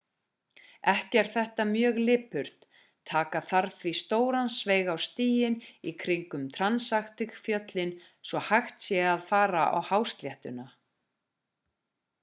ekki er þetta mjög lipurt taka þarf því stóran sveig á stíginn í kringum transantarctic-fjöllin svo hægt sé að fara á hásléttuna